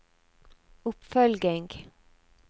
oppfølging